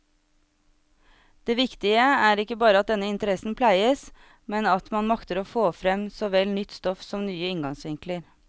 Det viktige er ikke bare at denne interessen pleies, men at man makter få frem såvel nytt stoff som nye inngangsvinkler.